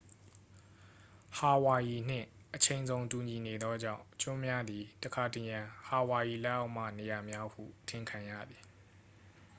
ဟာဝိုင်ရီနှင့် အချိန်ဇုန်တူညီနေသောကြောင့် ကျွန်းများသည် တခါတရံ ဟာဝိုင်ရီလက်အောက်မှ နေရာများဟုထင်ခံရသည်